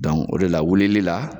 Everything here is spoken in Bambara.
o de la, wulili la